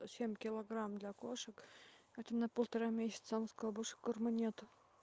семь килограмм для кошек это на полтора месяца она сказала больше корма нету